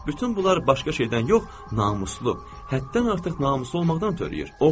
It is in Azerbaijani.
Bütün bunlar başqa şeydən yox, namuslu, həddən artıq namuslu olmaqdan törəyir.